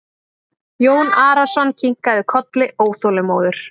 Jón Arason kinkaði kolli óþolinmóður.